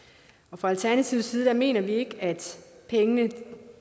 fra alternativets side mener vi ikke at pengene